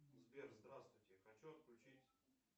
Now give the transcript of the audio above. сбер здравствуйте хочу отключить